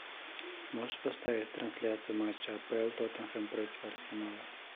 можешь поставить трансляцию матча апл тоттенхэм против арсенала